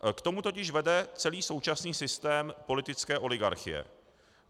K tomu totiž vede celý současný systém politické oligarchie.